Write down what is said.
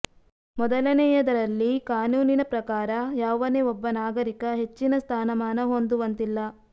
ಮೊದಲನೇಯದರಲ್ಲಿ ಕಾನೂನಿನ ಪ್ರಕಾರ ಯಾವನೇ ಒಬ್ಬ ನಾಗರಿಕ ಹೆಚ್ಚಿನ ಸ್ಥಾನ ಮಾನ ಹೊಂದುವಂತಿಲ್ಲ